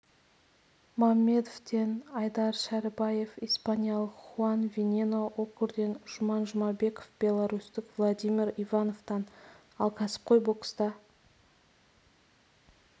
маммедовтен айдар шәрібаев испаниялық хуан венено окурден жұман жұмабеков беларусьтік владимир ивановтан ал кәсіпқой бокста